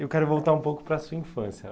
Eu quero voltar um pouco para a sua infância.